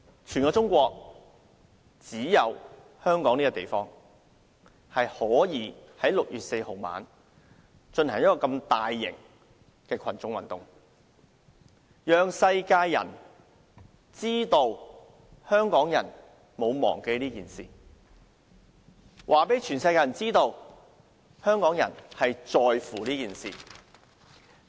全中國只有香港這個地方可以在6月4日晚上進行這麼大型的群眾運動，讓世人知道香港人沒有忘記這件事，讓世人知道香港人在乎這件事。